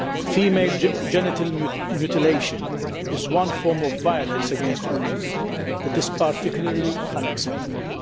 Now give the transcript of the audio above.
Female genital mutilation is one form of violence against women that is particularly unacceptable.